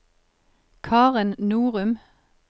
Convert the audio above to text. Karen Norum